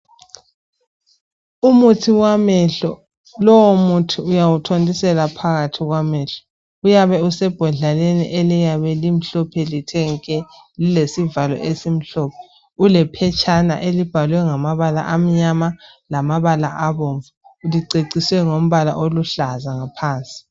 Umuthi wamehlo. Lowomuthi uyawuthontisela phakathi kwamehlo. Uyabe usebhodleleni eliyabe. limhlophe. lithe nke! Lilesivala esimhlophe. Ulephetshana elibhalwe. ngamabala amnyama, lamabala abomvu. Liceciswe ngombala oluhlaza, ngaphansi.